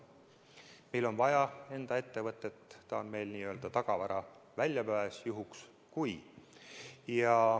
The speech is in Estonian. Meile on vaja enda ettevõtet, ta on meil n-ö tagavaraväljapääs, juhuks kui.